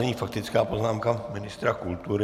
Nyní faktická poznámka ministra kultury.